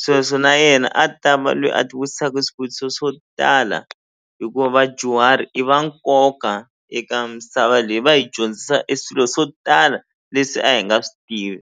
sweswo na yena a ta va lweyi a ti vutisaka swivutiso swo tala hikuva vadyuhari i va nkoka eka misava leyi va hi dyondzisa e swilo swo tala leswi a hi nga swi tivi.